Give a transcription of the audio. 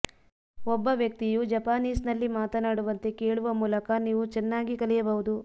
ಒಬ್ಬ ವ್ಯಕ್ತಿಯು ಜಪಾನೀಸ್ನಲ್ಲಿ ಮಾತನಾಡುವಂತೆ ಕೇಳುವ ಮೂಲಕ ನೀವು ಚೆನ್ನಾಗಿ ಕಲಿಯಬಹುದು